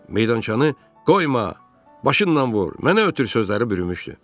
Meydançanı "qoyma, başınla vur, mənə ötür" sözləri bürümüşdü.